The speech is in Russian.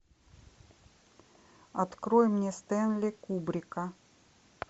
открой мне стэнли кубрика